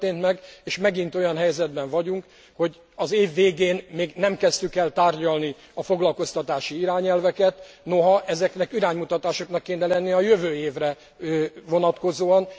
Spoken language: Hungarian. Nem történt meg, és megint olyan helyzetben vagyunk, hogy az év végén még nem kezdtük el tárgyalni a foglalkoztatási irányelveket, noha ezeknek iránymutatásoknak kéne lenniük a jövő évre vonatkozóan.